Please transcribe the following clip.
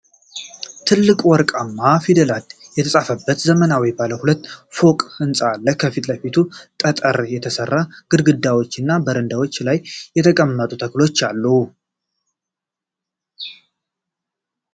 ትልልቅ ወርቃማ ፊደላት የተጻፉበት ዘመናዊ ባለ ሁለት ፎቅ ሕንፃ አለ። ከፊት ለፊቱ በጠጠር የተሠሩ ግድግዳዎችና በረንዳ ላይ የተቀመጡ ተክሎች አሉ።